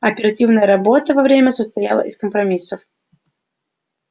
оперативная работа во время состояла из компромиссов